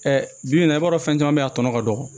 bi bi in na i b'a dɔn fɛn be yen a tɔ ka dɔgɔ